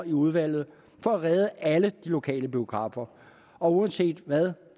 i udvalget for at redde alle de lokale biografer og uanset hvad